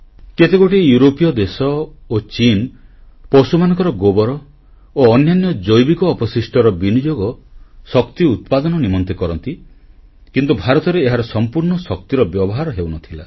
କେତେଗୋଟି ୟୁରୋପୀୟ ଦେଶ ଓ ଚୀନ ପଶୁମାନଙ୍କର ଗୋବର ଓ ଅନ୍ୟାନ୍ୟ ଜୈବିକ ଅବଶିଷ୍ଟର ବିନିଯୋଗ ଶକ୍ତି ଉତ୍ପାଦନ ନିମନ୍ତେ କରନ୍ତି କିନ୍ତୁ ଭାରତରେ ଏହାର ସମ୍ପୂର୍ଣ୍ଣ ଶକ୍ତିର ବ୍ୟବହାର ହେଉନଥିଲା